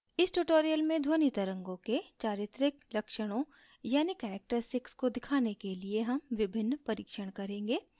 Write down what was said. इस tutorial में ध्वनि तरंगों के चारित्रिक लक्षणों यानि characteristics को दिखाने के लिए हम विभिन्न परिक्षण करेंगे